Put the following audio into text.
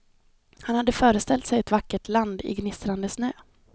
Han hade föreställt sig ett vackert land i gnistrande snö.